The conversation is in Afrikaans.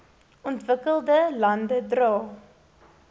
ontwikkelde lande dra